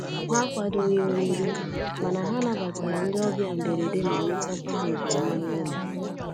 Ha akwadoghị oriri, mana ha nabatara ndị ọbịa mberede ma letakwa ha nke ọma n'ụlọ.